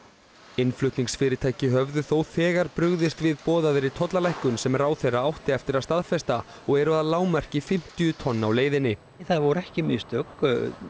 innflutningsfyrirtæki höfðu þó þegar brugðist við boðaðri tollalækkun sem ráðherra átti eftir að staðfesta og eru að lágmarki fimmtíu tonn á leiðinni það voru ekki mistök